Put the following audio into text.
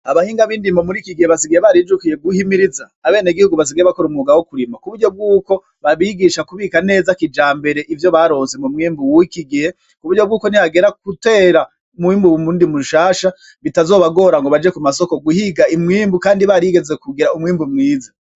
Abahinga b'indimo mur 'iki gihe basigaye barijukiye guhimiriza abenegihugu basigaye bakora umwuga wo kurima, ku buryo bw'uko babigisha kubika neza kijambere ivyo baronse mu mwimbu w'iki gihe, ku buryo bwuko nihagera gutera umwimbu w'indimo nshasha bitazobagora ngo baje kumasoko guhiga umwimbu, Kandi barigeze kugira umwimbu mwiza.